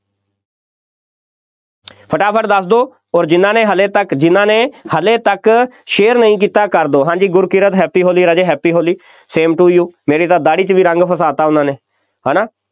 ਫਟਾਫਟ ਦੱਸ ਦਿਓ ਅੋਰ ਜਿੰਨਾ ਨੇ ਹਾਲੇ ਤੱਕ, ਜਿੰਨਾ ਨੇ ਹਾਲੇ ਤੱਕ share ਨਹੀਂ ਕੀਤਾ ਕਰ ਦਿਓ, ਹਾਂਜੀ ਗੁਰਕੀਰਤ Happy Holi ਰਾਜੇ, Happy Holi, same to you ਮੇਰੀ ਤਾਂ ਦਾੜ੍ਹੀ 'ਚ ਵੀ ਰੰਗ ਫਸਾ ਦਿੱਤਾ ਉਹਨਾ ਨੇ, ਹੈ ਨਾ,